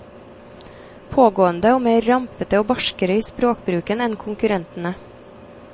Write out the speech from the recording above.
Pågående og mer rampete og barskere i språkbruken enn konkurrentene.